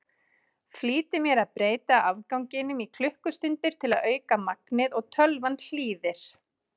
Flýti mér að breyta afganginum í klukkustundir til að auka magnið og tölvan hlýðir.